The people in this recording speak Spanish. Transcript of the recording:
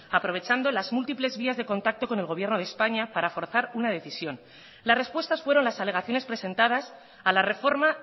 aprovechando las múltiples vías de contacto con el gobierno de españa para forzar una decisión las respuestas fueron las alegaciones presentadas a la reforma